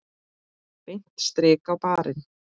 Beint strik á barinn.